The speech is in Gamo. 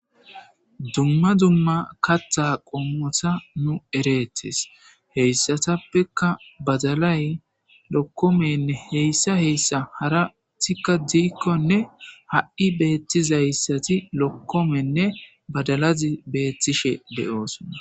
Dumma dumma katha qommota nu ereettes heyssatappeka badalay lokkomenne heyssa heyssa harathikka diikkonne ha7i beettizayssati lokkomenne badalazi beettishe de7oosona.